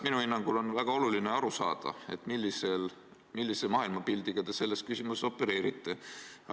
Minu hinnangul on väga oluline aru saada, millise maailmapildiga te selles küsimuses opereerite.